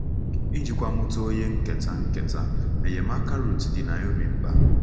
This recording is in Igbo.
Ijikwa mụta onye nketa, nketa, enyemaka Ruth dị Naomi mkpa.